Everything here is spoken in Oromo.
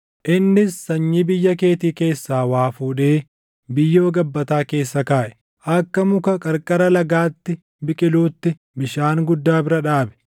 “ ‘Innis sanyii biyya keetii keessaa waa fuudhee biyyoo gabbataa keessa kaaʼe. Akka muka qarqara lagaatti biqiluutti bishaan guddaa bira dhaabe;